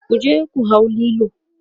kuje ku hau Lilo!